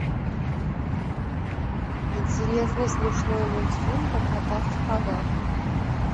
интересный смешной мультфильм про кота в сапогах